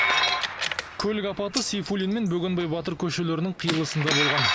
көлік апаты сейфуллин мен бөгенбай батыр көшелерінің қиылысында болған